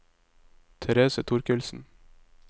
Therese Torkildsen